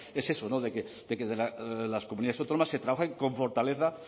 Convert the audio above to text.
es eso de que en las comunidades autónomas se trabajen con fortaleza